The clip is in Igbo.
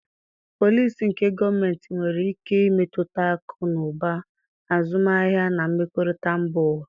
Polisi nke gọọmentị nwere ike imetụta akụ na ụba, azụmahịa, na mmekọrịta mba ụwa.